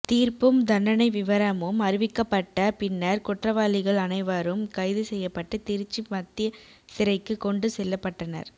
தீர்ப்பும் தண்டனை விவரமும் அறிவிக்கப்பட்ட பின்னர் குற்றவாளிகள் அனைவரும் கைது செய்யப்பட்டு திருச்சி மத்திய சிறைக்கு கொண்டு செல்லப்பட்டனர்